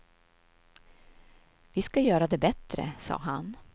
Vi ska göra det bättre, sa han.